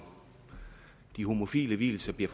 de homofile vielser i